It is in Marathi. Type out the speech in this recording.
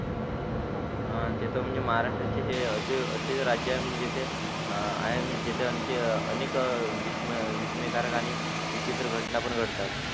ते तर म्हणजे महाराष्टचे हे असे असे राज्य म्हणजे जिथे आहे म्हणजे जिथे आणखी अनेक विस्मय विस्मयकारक आणी विचित्र घटना पण घडतात